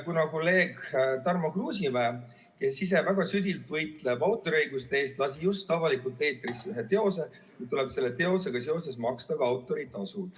Kuna kolleeg Tarmo Kruusimäe, kes ise väga südilt võitleb autoriõiguste eest, lasi just avalikult eetrisse ühe teose ja nüüd tuleb tal selle teosega seoses maksta ka autoritasu.